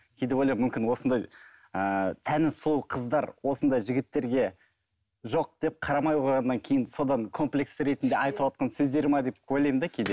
кейде ойлаймын мүмкін осындай ыыы тәні сұлу қыздар осындай жігіттерге жоқ деп қарамай қойғаннан кейін содан комплекс ретінде айтывотқан сөздері ме деп ойлаймын да кейде